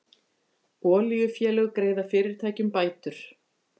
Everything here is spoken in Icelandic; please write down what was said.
Olíufélög greiða fyrirtækjum bætur